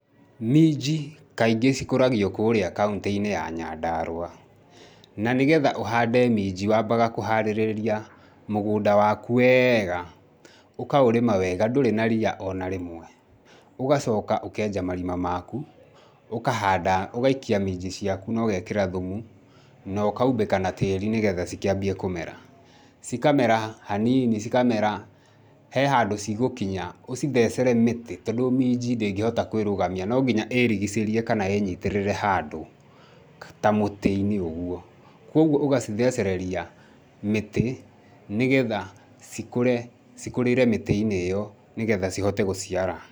Minji kaingĩ cikũragio kũrĩa kauntĩ-inĩ ya Nyandarua. Na nĩgetha ũhande minji, wambaga kũharĩrĩria mũgũnda waku weega, ũkaũrĩma wega ndũrĩ na ria ona rĩmwe. Ũgacoka ũkenja marima maku, ũkahanda, ũgaikia minji ciaku na ũgekĩra thumu, na ũkaumbĩka na tĩri nĩgetha cikĩambie kũmera. Cikamera haniini cikamera, he handũ cigũkinya ũcithecere mĩtĩ, tondũ minji ndĩngĩhota kũĩrũgamia no nginya ĩrigicĩrie kana ĩnyitĩrĩre handũ, ta mũtĩ-inĩ ũguo, kuoguo ũgacithecereria, mĩtĩ nĩgetha cikũre cikũrĩre mĩtĩ-inĩ ĩyo, nĩgetha cihote gũciara.